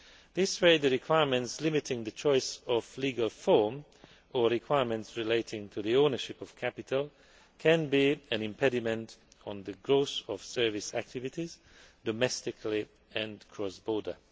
Thus the requirements limiting the choice of legal form or requirements relating to the ownership of capital can be an impediment to the growth of service activities, domestically and cross border.